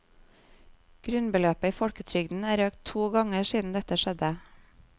Grunnbeløpet i folketrygden er økt to ganger siden dette skjedde.